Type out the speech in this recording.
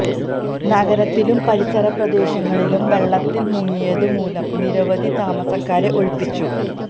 നഗരത്തിലും പരിസര പ്രദേശങ്ങളും വെള്ളത്തിൽ മുങ്ങിയതു മൂലം നിരവധി താമസക്കാരെ ഒഴിപ്പിച്ചു